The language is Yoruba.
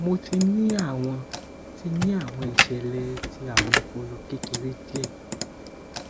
mo ti ni awọn ti ni awọn iṣẹlẹ ti awọn ọpọlọ kekere diẹ